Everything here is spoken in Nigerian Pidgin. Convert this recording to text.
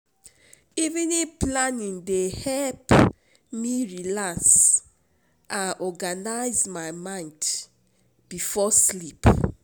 Evening planning dey help me relax and organize my mind before sleep.